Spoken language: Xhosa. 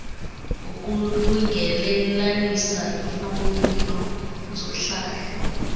ukulungelelanisa imfuno zohlahlo